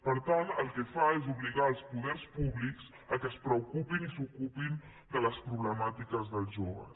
per tant el que fa és obligar els poders públics que es preocupin i s’ocupin de les problemàtiques dels joves